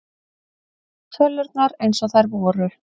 Tölurnar eins og þær voru.